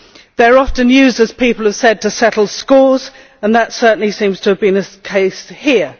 They are often used, as people have said, to settle scores and that certainly seems to have been the case here.